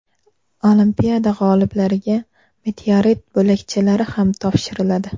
Olimpiada g‘oliblariga meteorit bo‘lakchalari ham topshiriladi.